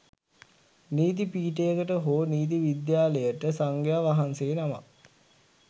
නීති පීඨයකට හෝ නීති විද්‍යාලයට සංඝයා වහන්සේ නමක්